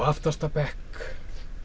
aftasta bekk